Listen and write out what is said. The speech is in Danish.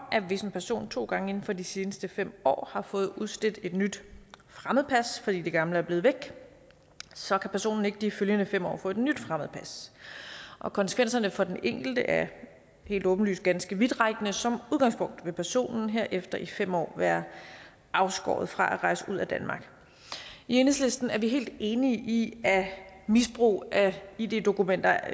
at hvis en person to gange inden for de seneste fem år har fået udstedt et nyt fremmedpas fordi det gamle er blevet væk så kan personen ikke i de følgende fem år få et nyt fremmedpas og konsekvenserne for den enkelte er helt åbenlyst ganske vidtrækkende og som udgangspunkt vil personen herefter i fem år være afskåret fra at rejse ud af danmark i enhedslisten er vi helt enige i at misbrug af id dokumenter